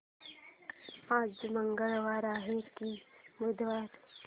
आज मंगळवार आहे की बुधवार